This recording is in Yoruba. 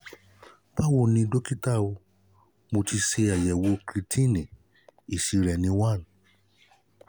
báwo ni dọ́kítá mo ti ṣe àyẹ̀wò creatinine èsì rẹ ni one